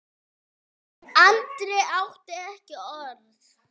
Andri átti ekki orð.